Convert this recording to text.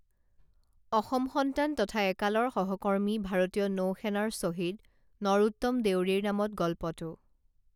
অসম সন্তান তথা একালৰ সহকৰ্মী ভাৰতীয় নৌসেনাৰ শ্বহীদ নৰোত্তম দেউৰীৰ নামত গল্পটো